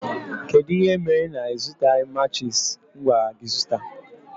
Kedụ ihe mere na ịzụtaghi matchis m gwara gị zụta?